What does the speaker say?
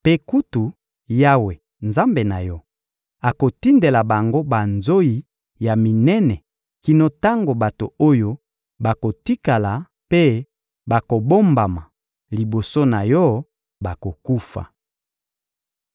Mpe kutu, Yawe, Nzambe na yo, akotindela bango banzoyi ya minene kino tango bato oyo bakotikala mpe bakobombama liboso na yo bakokufa.